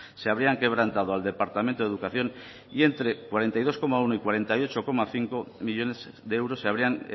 se habrían quebrantado al departamento de educación y entre cuarenta y dos coma uno y cuarenta y ocho coma cinco millónes de euros se habrían